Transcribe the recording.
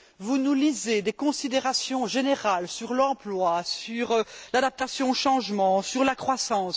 Vous nous lisez des considérations générales sur l'emploi, sur l'adaptation au changement, sur la croissance.